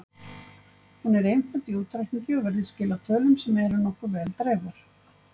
Hún er einföld í útreikningi og virðist skila tölum sem eru nokkuð vel dreifðar.